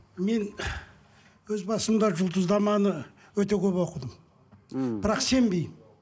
мен өз басымда жұлдызнаманы өте көп оқыдым мхм бірақ сенбеймін